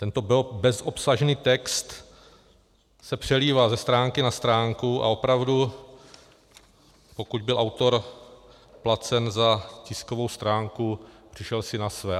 Tento bezobsažný text se přelívá ze stránky na stránku a opravdu, pokud byl autor placen za tiskovou stránku, přišel si na své.